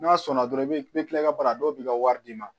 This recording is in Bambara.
N'a sɔnna dɔrɔn i bɛ kila i ka baara la dɔw b'i ka wari d'i ma